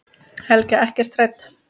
Helga: Ekkert hrædd?